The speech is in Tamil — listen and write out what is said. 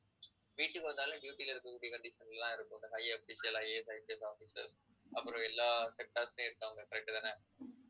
வீட்டுக்கு வந்தாலும் duty ல இருக்கக்கூடிய condition எல்லாம் இருக்கும் அந்த highIASIPSofficers அப்புறம் எல்லா sector லயும் இருக்காங்க correct தானே